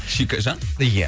шикежан ия